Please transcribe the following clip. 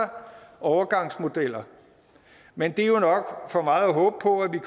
overgangsmodeller men det er jo nok for meget at håbe på at vi